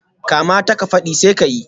Kamata ka fadi, sai ka yi